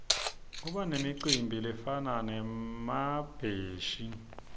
kubanemicimbi lefana nemabheshi